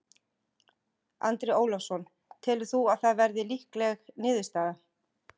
Andri Ólafsson: Telur þú að það verði líkleg niðurstaða?